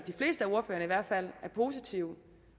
er positive